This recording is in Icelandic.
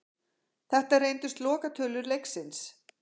Þetta reyndust lokatölur leiksins.